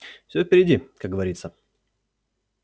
всё впереди как говорится